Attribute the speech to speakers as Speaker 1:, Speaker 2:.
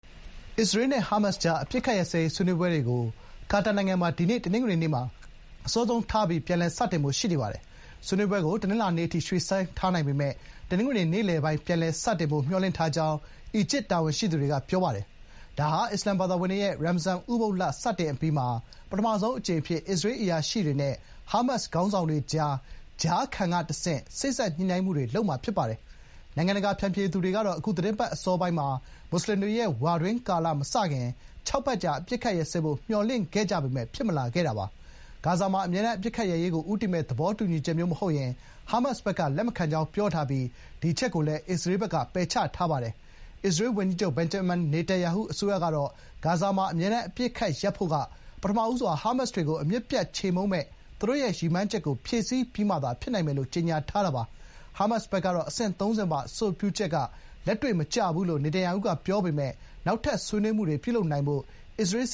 Speaker 1: အစ္စရေးနဲ့ ဟားမတ်စ်ကြား အပစ်အခတ်ရပ်စဲရေး ဆွေးနွေးပွဲတွေကို ကာတာနိုင်ငံမှာ ဒီနေ့ တနင်္ဂနွေနေ့မှာ အစောဆုံးထားပြီး ပြန်လည်စတင်ဖို့ ရှိနေပါတယ်။ ဆွေးနွေးပွဲကို တနင်္လာနေ့အထိ ရွှေ့ဆိုင်းထားနိုင်ပေမယ့် တနင်္ဂနွေ နေ့လယ်ပိုင်း ပြန်လည်စတင်ဖို့ မျှော်လင့်ထားကြောင်း အီဂျစ်တာဝန်ရှိသူတွေက ပြောတာပါ။ ဒါဟာ အစ္စာလာမ်ဘာသာဝင်တွေရဲ့ ရမ်ဇာန် ဥပုသ်လ စတင်အပြီးမှာ ပထမဆုံးအကြိမ် အဖြစ် အစ္စရေး အရာရှိတွေနဲ့ ဟားမတ်စ်ခေါင်းဆောင်တွေအကြား ကြားခံကတဆင့် စေ့စပ်ညှိနှိုင်းမှုတွေ လုပ်မှာ ဖြစ်ပါတယ်။ နိုင်ငံတကာဖျန်ဖြေသူတွေတော့ကတော့ အခုသီတင်းပတ်အစောပိုင်း မွတ်ဆလင်တွေရဲ့ ဝါတွင်းကာလ မစတင်ခင် ခြောက်ပတ်ကြာ အပစ်အခတ်ရပ်စဲရဖို့ မျှော်လင့်ခဲ့ကြပေမယ့် ဂါဇာမှာ အမြဲတမ်း အပစ်အခတ်ရပ်စဲရေးကို ဦးတည်မယ့် သဘောတူညီချက်မျိုး မဟုတ်ရင် ဟားမတ်စ်ဘက်က လက်မခံကြောင်း ပြောထားပြီး ဒီအချက်ကိုလည်း အစ္စရေးဘက်က ပယ်ချထားပါတယ်။ အစ္စရေး ဝန်ကြီးချုပ် ဘင်ဂျမင်နေတန်ယာဟု အစိုးရကတော့ ဂါဇာမှာ အမြဲတမ်း အပစ်အခတ် ရပ်စဲဖို့က “ပထမဦးစွာ ဟားမတ်စ်တွေကို အမြစ်ပြတ် ချေမှုန်းမယ့် သူတို့ရဲ့ ရည်မှန်းချက်ကို ဖြည့်ဆည်းပြီးမှ ဖြစ်နိုင်မယ်” လို့ ကြေညာထားတာပါ။ ဟားမတ်စ်ဘက်က အဆိုပြုချက်က လက်တွေ့မကျဘူးလို့ နေတန်ယာဟု ပြောပေမယ့် နောက်ထပ် ဆွေးနွေးမှုတွေ ပြုလုပ်နိုင်ဖို့ အစ္စရေး စ